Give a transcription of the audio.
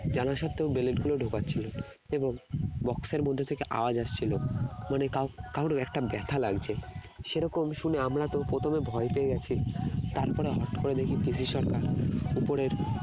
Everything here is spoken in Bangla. জানা সত্ত্বেও blade গুলো ঢোকাচ্ছিল এবং box এর মধ্যে থেকে আওয়াজ আসছিল মানে কা~ কাউর একটা ব্যথা লাগছে সেরকম শুনে আমরা তো প্রথমে ভয় পেয়ে গেছি তারপরে হঠাৎ করে দেখি PC সরকার উপরের